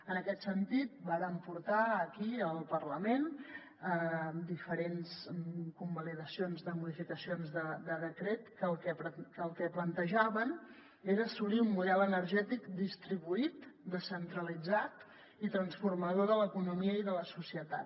en aquest sentit vàrem portar aquí al parlament diferents convalidacions de modificacions de decret que el que plantejaven era assolir un model energètic distribuït descentralitzat i transformador de l’economia i de la societat